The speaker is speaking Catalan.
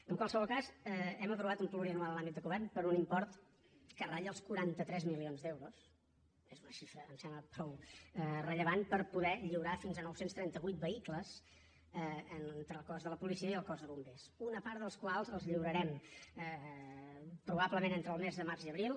en qualsevol cas hem aprovat un plurianual en l’àmbit de govern per un import que ratlla els quaranta tres milions d’euros és una xifra em sembla prou rellevant per poder lliurar fins a nou cents i trenta vuit vehicles entre el cos de la policia i el cos de bombers una part dels quals els lliurarem probablement entre el mes de març i abril